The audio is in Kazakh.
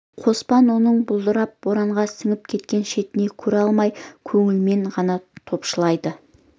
қоспан оның бұлдырап боранға сіңіп кеткен шетін көре алмай көңілмен ғана топшылайды